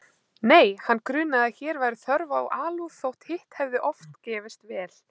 Nei, hann grunaði að hér væri þörf á alúð þótt hitt hefði oft gefist vel.